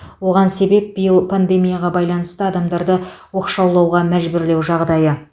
оған себеп биыл пандемияға байланысты адамдарды оқшаулауға мәжбүрлеу жағдайы